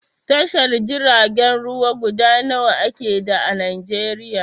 Tashar jiragen ruwa guda nawa ake da a Najeriya?